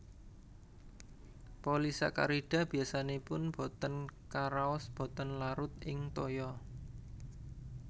Polisakarida biasanipun botén karaos botén larut ing toya